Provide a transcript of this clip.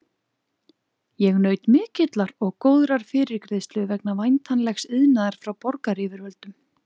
Ég naut mikillar og góðrar fyrirgreiðslu vegna væntanlegs iðnaðar frá borgaryfirvöldum.